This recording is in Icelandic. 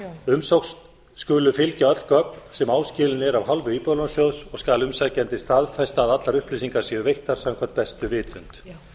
umsókn skulu fylgja öll gögn sem áskilin eru af hálfu íbúðalánasjóðs og skal umsækjandi staðfesta að allar upplýsingar séu veittar samkvæmt bestu vitund